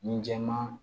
Ni jɛman